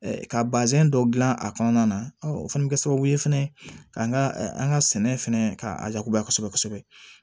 Ka bazɛn dɔ dilan a kɔnɔna na o fana bɛ kɛ sababu ye fɛnɛ k'an ka an ka sɛnɛ fɛnɛ ka jagoya kosɛbɛ kosɛbɛ